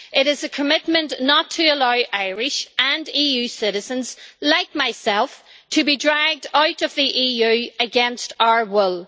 It is a commitment not to allow Irish and EU citizens like myself to be dragged out of the EU against our will.